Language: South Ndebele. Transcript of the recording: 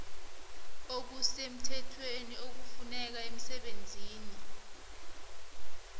okusemthethweni okufuneka emsebenzini